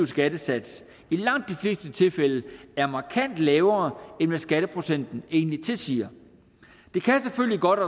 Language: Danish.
skattesats i langt de fleste tilfælde er markant lavere end hvad skatteprocenten egentlig tilsiger det kan selvfølgelig godt